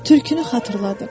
Tülkünü xatırladım.